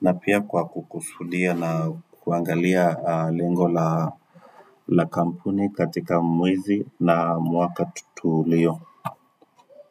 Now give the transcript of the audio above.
na pia kwa kukusudia na kuangalia lengo la kampuni katika mwezi na mwaka tulio.